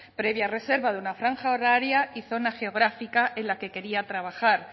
previa reserva de una franja horaria y zona geográfica en la que quería trabajar